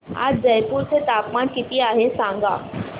आज जयपूर चे तापमान किती आहे सांगा